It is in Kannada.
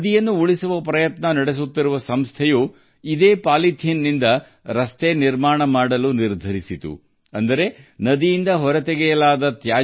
ನದಿ ಉಳಿಸಲು ಶ್ರಮಿಸುತ್ತಿರುವ ಸಂಸ್ಥೆ ಈ ಪಾಲಿಥಿನ್ ಅಂದರೆ ನದಿಯಿಂದ ಹೊರ ತೆಗೆಯುವ ತ್ಯಾಜ್ಯವನ್ನು ಬಳಸಿ ರಸ್ತೆ ನಿರ್ಮಿಸಲು ನಿರ್ಧರಿಸಿತು